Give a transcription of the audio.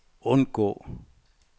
undgå